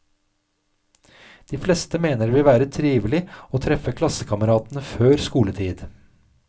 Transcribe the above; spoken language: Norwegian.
De fleste mener det vil være trivelig å treffe klassekameratene før skoletid.